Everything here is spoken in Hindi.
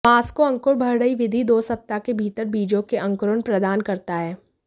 मास्को अंकुर बढ़ रही विधि दो सप्ताह के भीतर बीजों के अंकुरण प्रदान करता है